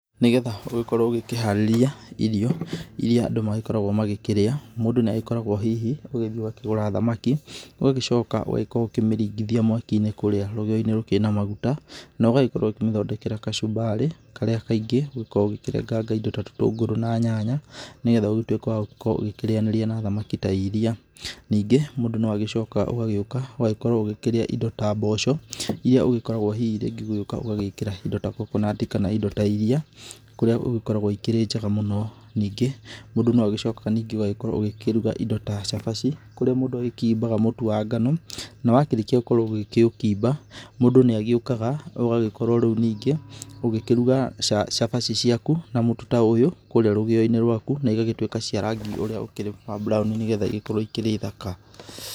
Nĩ getha ũgĩkorwo ũgĩkĩharĩria irio, iria andũ magĩkoragwo magĩkĩrĩa, mũndũ nĩ agĩkoragwo hihi ũgĩthiĩ ũgakĩgũra thamaki, ũgagĩcoka ũgagĩkorwo ũkĩmĩringithia mwaki-inĩ kũrĩa rũgĩo-inĩ rũkĩrĩ na maguta, na ũgagĩkorwo ũkĩmĩthondekera kachumbari karĩa kaingĩ ũgĩkoragwo ũkĩrenganga indo ta tũtũngũrũ na nyanya nĩ getha ũgĩtuĩke wa gũkorwo ũgĩkĩrĩanĩria na thamaki ta iria. Ningĩ mũndũ no agĩcokaga ũgagĩũka ũgagĩkorwo ũgĩkĩrĩa indo ta mboco, iria ũgĩkoragwo hihi rĩngĩ ũgĩũka ũgagĩĩkĩra indo ta coconut kana indo ta iriia kũrĩa ĩgĩkoragwo ĩkĩrĩ njega mũno. Ningĩ, mũndu no agĩcokaga ningĩ ũgagĩkorwo ũgĩkĩruga indo ta cabaci, kũrĩa mũndũ agĩkimbaga mũtũ wa ngano na wakĩrĩkia gũkorwo ũgĩkĩũkimba, mũndu ni agĩũkaga ũgagĩkorwo rĩu ningĩ ũgĩkĩruga cabaci ciaku na mũtu ta ũyũ kũrĩa rũgio-inĩ rwaku na igagĩtuĩka cia rangi ũrĩa ũkĩrĩ wa brown nĩ getha igĩkorwo ikĩrĩ thaka.